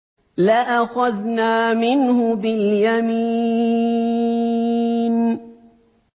لَأَخَذْنَا مِنْهُ بِالْيَمِينِ